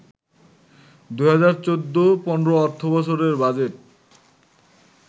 ২০১৪-১৫ অর্থবছরের বাজেট